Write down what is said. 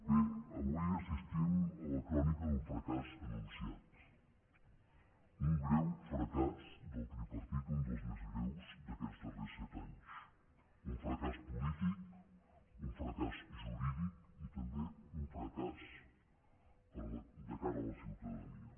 bé avui assistim a la crònica d’un fracàs anunciat un greu fracàs del tripartit un dels més greus d’aquests darrers set anys un fracàs polític un fracàs jurídic i també un fracàs de cara a la ciutadania